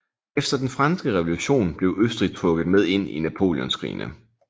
Efter den franske revolution blev Østrig trukket med ind i napoleonskrigene